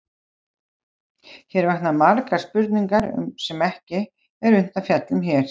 Hér vakna margar spurningar sem ekki er unnt að fjalla um hér.